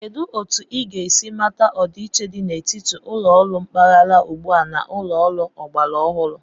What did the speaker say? Kedu otu ị ga-esi mata ọdịiche dị n'etiti ụlọ ọrụ mpaghara ugbua a na ụlọ ọrụ ọgbara ọhụrụ?